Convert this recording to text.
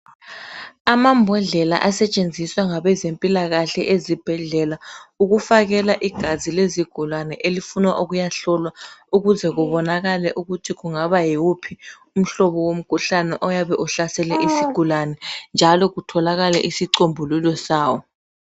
Amambodlela esetshenziswa ngabezempilakahle ezibhedlela ukufakela igazi lezigulane elifuna ukuyahlolwa ukuze kubonakale ukuthi kungaba yiwuphi umhlobo womkhuhlane ohlasele isigulane njalo kubonakale isicombululo sawo.